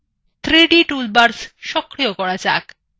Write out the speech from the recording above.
3d toolbars সক্রিয় করা যাক